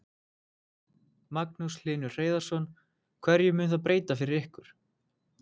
Magnús Hlynur Hreiðarsson: Hverju mun það breyta fyrir ykkur?